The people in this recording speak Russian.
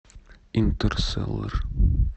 интерстеллар